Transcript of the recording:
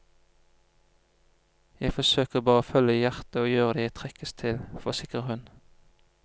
Jeg forsøker bare å følge hjertet og gjøre det jeg trekkes til, forsikrer hun.